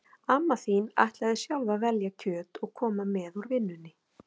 Amma þín ætlaði sjálf að velja kjöt og koma með úr vinnunni